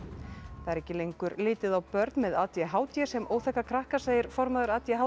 það er ekki lengur litið á börn með a d h d sem óþekka krakka segir formaður a d h